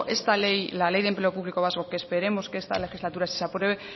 esta ley la ley de empleo público vasco que esperemos que esta legislatura sí se apruebe